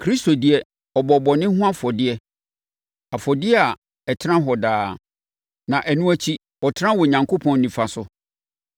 Kristo deɛ, ɔbɔɔ bɔne ho afɔdeɛ. Afɔdeɛ a ɛtena daa nyinaa. Na ɛno akyi, ɔtenaa Onyankopɔn nifa so.